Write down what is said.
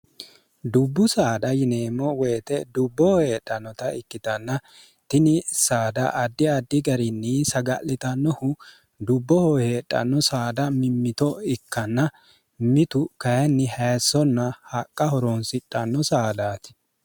dubbu saada yineemmo woyite dubbohoheedhannota ikkitanna tini saada addi addi garinni saga'litannohu dubbo hoheedhanno saada mimmito ikkanna mitu kayinni hayessonna haqqa horoonsidhanno saadaati